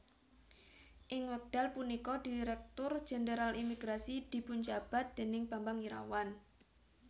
Ing wekdal punika Direktur Jenderal Imigrasi dipunjabat déning Bambang Irawan